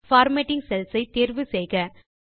format cells ஐ தேர்வு செய்க